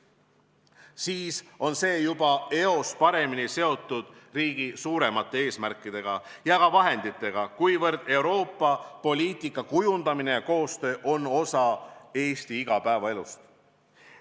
Siis on see juba eos paremini seotud riigi suuremate eesmärkide ja ka vahenditega, kuivõrd Euroopa-poliitika kujundamine ja koostöö on osa Eesti igapäevaelust.